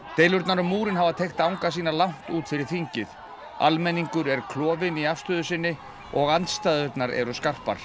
deilurnar um múrinn hafa teygt arma sína langt út fyrir þingið almenningur er klofinn í afstöðu sinni og andstæðurnar eru skarpar